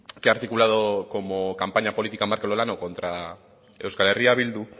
que ha articulado como campaña política markel olano contra euskal herria bildu